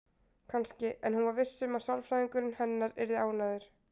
Kannski, en hún var viss um að sálfræðingurinn hennar yrði ánægður.